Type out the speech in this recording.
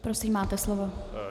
Prosím, máte slovo.